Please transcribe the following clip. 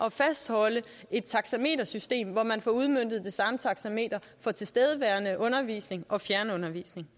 at fastholde et taxametersystem hvor man får udmøntet det samme taxameter for tilstedeværende undervisning og fjernundervisning